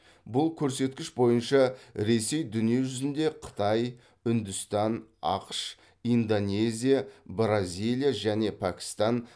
бұл көрсеткіш бойынша ресей дүниежүзінде қытай үндістан ақш индонезия бразилия және пәкстан